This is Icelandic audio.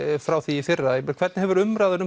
frá því í fyrra hvernig hefur umræðan